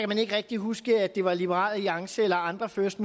man ikke rigtig huske at det var liberal alliance eller andre first